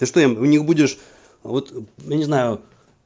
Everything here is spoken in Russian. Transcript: ты что им у них будешь вот не знаю